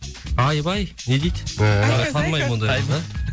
айбай не дейді ыыы танымаймын ондай қызды